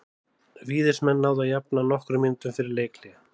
Víðismenn náðu að jafna nokkrum mínútum fyrir leikhlé.